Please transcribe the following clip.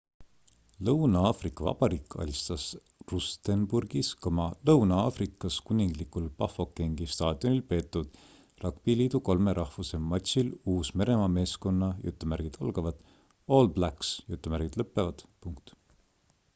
lõuna-aafrika vabariik alistas rustenburgis lõuna-aafrikas kuninglikul bafokengi staadionil peetud ragbiliidu kolme rahvuse matšil uus-meremaa meeskonna all blacks